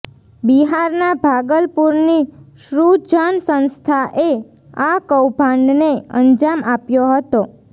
બિહારના ભાગલપુરની સૃજન સંસ્થાએ આ કૌભાંડને અંજામ આપ્યો હતો